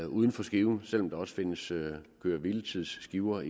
uden for skiven og selv om der også findes køre hvile tids skiver